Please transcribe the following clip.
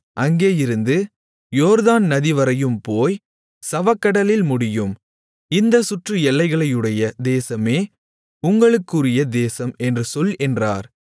அங்கேயிருந்து யோர்தான் நதி வரையும் போய் சவக்கடலில் முடியும் இந்தச் சுற்று எல்லைகளையுடைய தேசமே உங்களுக்குரிய தேசம் என்று சொல் என்றார்